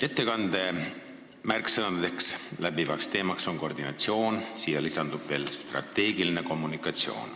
Ettekande märksõnaks, läbivaks teemaks oli koordinatsioon, millele lisandus veel strateegiline kommunikatsioon.